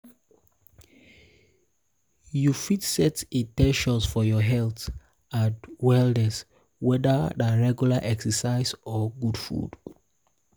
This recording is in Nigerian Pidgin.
you fit you fit set in ten tions for your health and wellness whether na regular exercise or good food.